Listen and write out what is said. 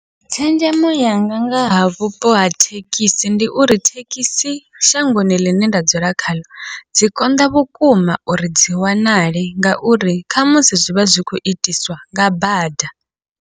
Tshenzhemo yanga ngaha vhupo ha thekhisi, ndi uri thekhisi shangoni ḽine nda dzula khaḽo dzi konḓa vhukuma uri dzi wanale, ngauri khamusi zwivha zwi khou itiswa nga bada.